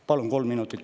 Palun kolm minutit.